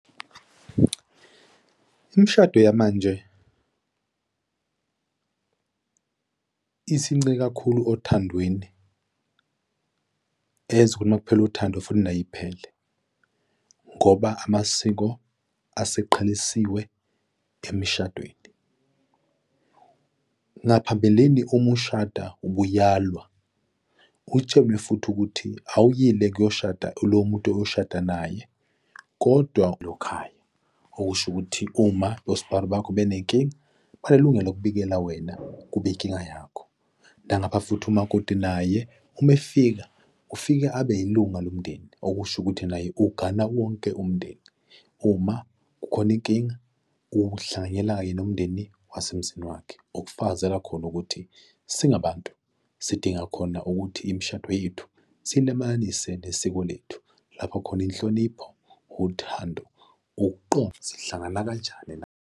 Imishado yamanje isincike kakhulu othandweni enza ukuthi makuphela uthando futhi nayo iphele, ngoba amasiko aseqhelisiwe emshadweni. Ngaphambilini uma ushada ubuyalwa, utshelwe futhi ukuthi awuyile kuyoshada lowo muntu oyoshada naye, kodwa khaya okusho ukuthi uma osbari bakho benenkinga, banelungelo lokubikela wena kube inkinga yakho. Nangapha futhi umakoti naye uma efika ufika abe ilunga lomndeni, okusho ukuthi naye ugana wonke umndeni. Uma kukhona inkinga, uhlanganyela kanye nomndeni wasemzini wakhe okufakazela khona ukuthi singabantu sidinga khona ukuthi imishado yethu siyilamananise nesiko lethu lapho khona inhlonipho, uthando, ukuqonda, sihlangana kanjani na?